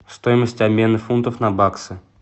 стоимость обмена фунтов на баксы